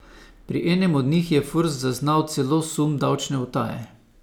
Pri enem od njih je Furs zaznal celo sum davčne utaje.